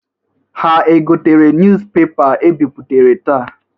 Ha egotere nuz pepa e bipụtara taa?